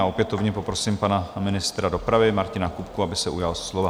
A opětovně poprosím pana ministra dopravy Martina Kupku, aby se ujal slova.